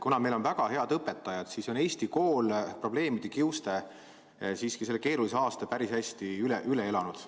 Kuna meil on väga head õpetajad, siis on Eesti kool probleemide kiuste siiski selle keerulise aasta päris hästi üle elanud.